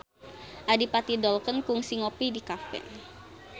Adipati Dolken kungsi ngopi di cafe